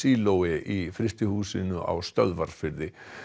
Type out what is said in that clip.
íssílói í frystihúsinu á Stöðvarfirði